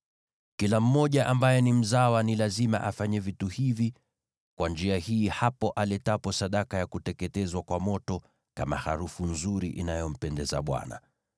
“ ‘Kila mmoja ambaye ni mzawa ni lazima afanye vitu hivi kwa njia hii hapo aletapo sadaka ya kuteketezwa kwa moto kama harufu nzuri inayompendeza Bwana .